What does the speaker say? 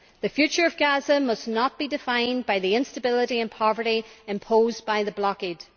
The future of Gaza must not be defined by the instability and poverty imposed by the blockade.